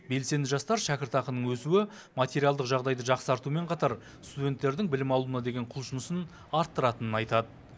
белсенді жастар шәкіртақының өсуі материалдық жағдайды жақсартуымен қатар студенттердің білім алуына деген құлшынысын арттыратынын айтады